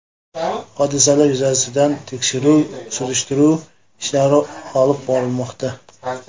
Hodisalar yuzasidan tekshiruv-surishtiruv ishlari olib borilmoqda.